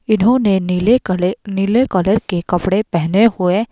इन्होंने नीले कले नीले कलर के कपड़े पहने हुए --